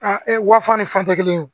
wafa ni fɛn tɛ kelen